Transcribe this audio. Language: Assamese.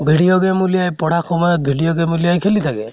video game উলিয়াই পঢ়া সময়ত video game খেলি থাকে